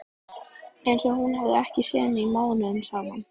Einsog hún hafi ekki séð mig mánuðum saman.